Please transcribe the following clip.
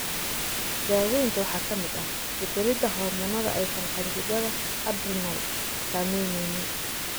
Daaweynta waxaa ka mid ah beddelidda hormoonnada aysan qanjidhada adrenal samaynaynin.